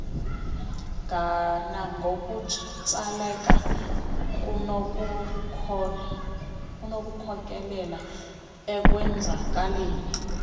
nangokutsaleka kunokukhokelela ekwenzakaleni